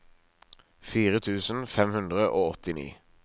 fire tusen fem hundre og åttini